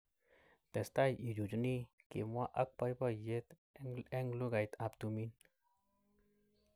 Testai ichuchuni, " kimwa ak boiboiyet eng lugait ab tumin.